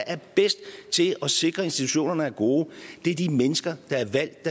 er bedst til at sikre institutioner er gode er de mennesker der er valgt